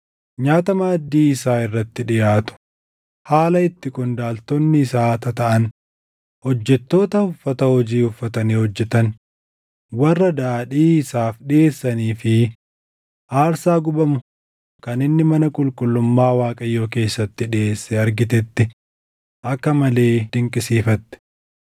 nyaata maaddii isaa irratti dhiʼaatu, haala itti qondaaltonni isaa tataaʼan, hojjettoota uffata hojii uffatanii hojjetan, warra daadhii isaaf dhiʼeessanii fi aarsaa gubamu kan inni mana qulqullummaa Waaqayyoo keessatti dhiʼeesse argitetti akka malee dinqisiifatte.